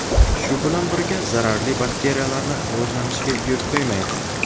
shu bilan birga zararli bakteriyalarni rivojlanishiga yo‘l qo‘ymaydi.